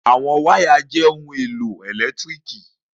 Awọn okun waya jẹ itanna itanna